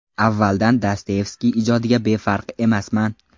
Avvaldan Dostoyevskiy ijodiga befarq emasman.